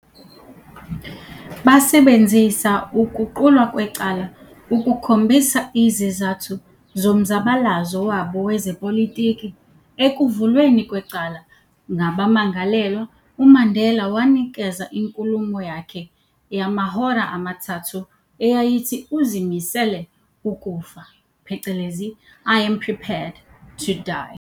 Basebenzisa ukuqulwa kwecala ukukhombisa izizathu zomzabalazo wabo wezepolitiki, ekuvulweni kwecala ngabammangalelwa, uMandela wanikeza inkulumo yakhe yamahhora amathathu, eyayithi uzimisele ukufa- "I Am Prepared to Die".